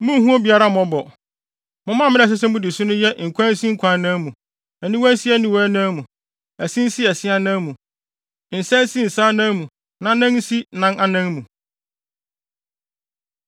Munnhu obiara mmɔbɔ! Mo mmara a ɛsɛ sɛ mudi so no yɛ nkwa nsi nkwa anan mu, aniwa nsi aniwa anan mu, ɛse nsi se anan mu, nsa nsi nsa anan mu na nan nsi nan anan mu.